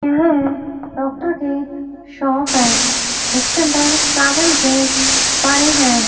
यह एक डॉक्टर के शॉप है इसके अंदर पड़ी है।